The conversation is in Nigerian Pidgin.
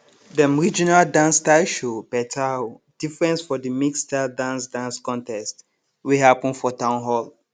dem regional dance style show better um difference for de mixedstyled dance dance contest wey happen for town hall